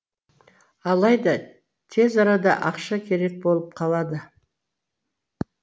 алайда тез арада ақша керек болып қалады